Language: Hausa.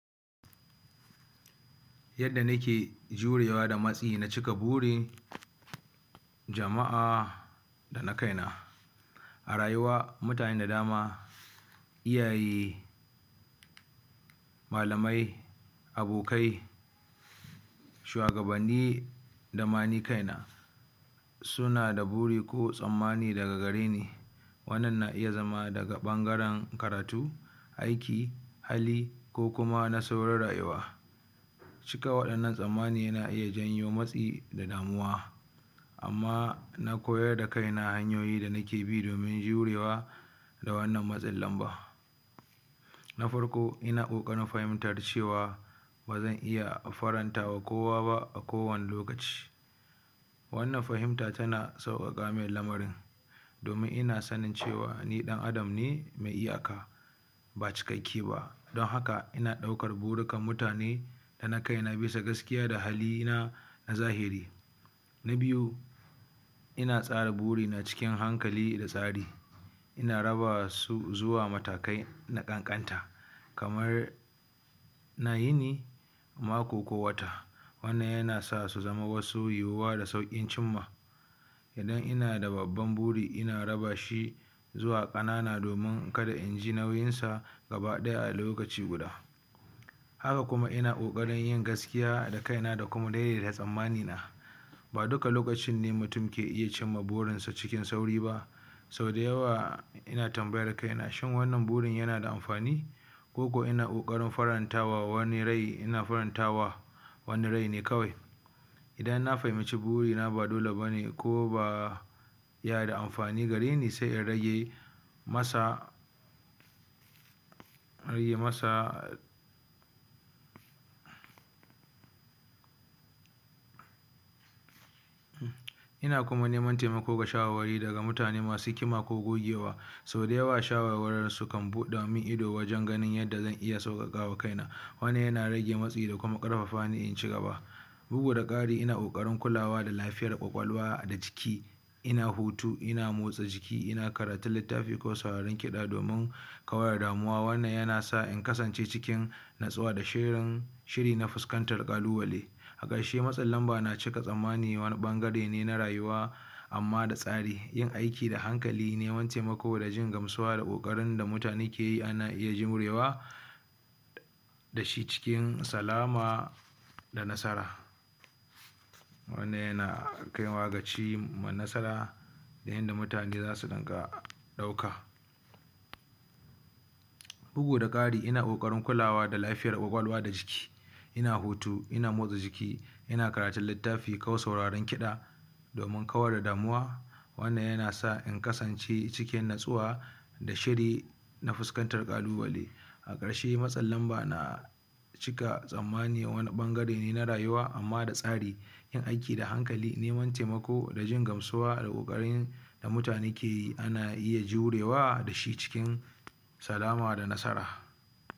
Yadda nike jurewa da matsi na cika buri jama'a da na kaina arayuwa mutane fda dama iyaye malamai abikai shuwagabanni da ma ni kaina amgaren karatu aiki hali ko kuma nasarorin rayuwa cika waɗann tasammani yana iya janyo matsi da damuwa, amma na koyar da kaina hanyoyin da nike bi domin jurewa daga wannan matsin lamba na farko ina ƙoƙarin fahimta cewa ba zan iya faran tawa kowa ba a kowane lokaci. wannan fahimta tana sauƙaƙa man lamarin domin ina fahimtar cewa nio ɗan'adam ne mai iyaka ba cikakke ba don haka ina ɗaukar burikan mutane da na kaina bisa gaskiya da halina na zahiri na biyu ina tsara burina cikin hankali da tsara ina rabawa zuwa matakai na ƙanƙanta kamar na yini mako ko wata wannan yana sa su zamo wasu yiwuwa da sauƙin cin ma idan ina da babban buri ina raba shi zuwa ƙanana domin kada in ji nauyinsa gabaɗaya a lokaci guda haka kuma ina ƙoƙarin yin gaskiya a kaina da kuma daidaita tsammani na ba duka lokaci ne mutum ke iya cinma burinsa cikin sauri ba sau da yawa ina tambayar kain a shin wannan burin yana da amfani ko ko ina ƙoƙarin faran tawa wani rai faran tawa kawai idan na fahimci guri na ba dole ba ne yana da amfani gare ni sai in rage masa in rage masa ina kuma neman taimako da shawarwari daga mutane masu hikima ko gogewa sau da yawa shawarwarinsu kan buɗa min ido wajen ganin yadda zan sauƙaƙawa kaina. wannan yana rage matsi da kuma ƙarfafa ni in ci gaba ina bugu da ƙari ina ƙoƙarin kulawa da lafiyar ƙwaƙwalwa da jiki ina hutu una motsa jiki ina karantun littafi ko sauraron kiɗa domin kawar da damuwa wannan yana sa in kasancewa cikin natsuwa da shiri shirina fuskantar yanayi a ƙarshe matsin lamba na cika tsammanin wani ɓangare ne na rayuwa amma da tsari yin aiki da hankali neman taimako da jin gamsuwa da ƙoƙarin da mutane ke yi ana iya jurewa da shi cikin salama da nasara wannan yana kaiwa ga cimma ma nasara da yadda mutane za su iya ɗauka bugu da ƙara ina ƙoƙarin kulawa da lafiyar ƙwaƙwalwa da jiki ina hutu ina motsa jiki ko karatun lattafi ko sauraren kiɗa domin kauda damuwa wannan yana sa in kasance cikin natsuwa da shiri na fuskantar ƙalubale a ƙarshe matsin lamba na cika tsammani wani ɓangare ne na rayuwa amma da tsari yin aiki da hankali neman taimako da jin gamsuwa da ƙoƙarin da muatanen ke ana iya jurewa da shi cikin salam da nasara.